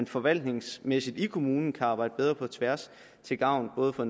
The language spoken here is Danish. forvaltningsmæssigt i kommunen kan arbejdes bedre på tværs til gavn for